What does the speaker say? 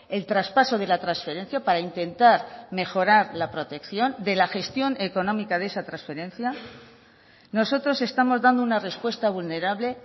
el traspaso de la transferencia para intentar mejorar la protección de la gestión económica de esa transferencia nosotros estamos dando una respuesta vulnerable